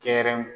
Kɛrɛ